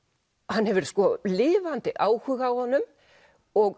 hann hefur lifandi áhuga á honum og